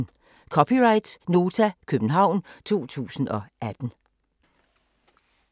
(c) Nota, København 2018